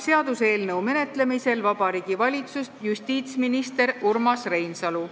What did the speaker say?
Seaduseelnõu menetlemisel Riigikogus esindab Vabariigi Valitsust justiitsminister Urmas Reinsalu.